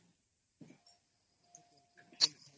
noise